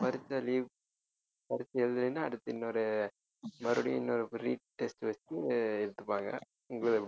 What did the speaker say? பரீட்சை leave பரீட்சை எழுதலைன்னா அடுத்து இன்னொரு மறுபடியும் இன்னொரு retest வச்சு எடுத்துப்பாங்க